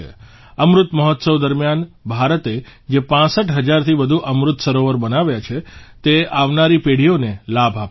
અમૃત મહોત્સવ દરમ્યાન ભારતે જે ૬૫ હજારથી વધુ અમૃત સરોવર બનાવ્યા છે તે આવનારી પેઢીઓને લાભ આપશે